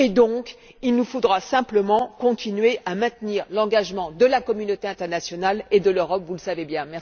Par conséquent, il nous faudra simplement continuer à maintenir l'engagement de la communauté internationale et de l'Europe, vous le savez bien.